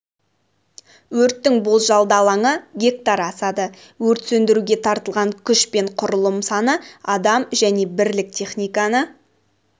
өрттің болжалды алаңы гектар асады өрт сөндіруге тартылған күш пен құрылым саны адам және бірлік техниканы